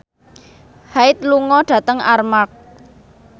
Hyde lunga dhateng Armargh